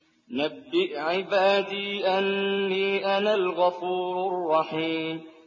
۞ نَبِّئْ عِبَادِي أَنِّي أَنَا الْغَفُورُ الرَّحِيمُ